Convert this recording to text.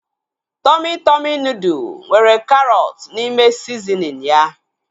Tọmị Tọmị nudụ nwere karọt n'ime sizinin ya